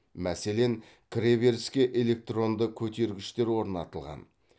мәселен кіре беріске электронды көтергіштер орнатылған